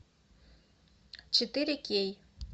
четыре кей